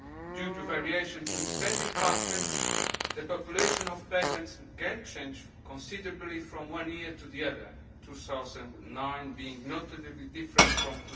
due to variations in spending patterns, the population of payments can change considerably from one year to the other 2009 being notably different from